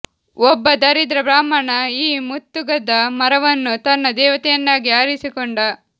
ಒಬ್ಬ ದರಿದ್ರ ಬ್ರಾಹ್ಮಣ ಈ ಮುತ್ತುಗದ ಮರವನ್ನು ತನ್ನ ದೇವತೆಯನ್ನಾಗಿ ಆರಿಸಿಕೊಂಡ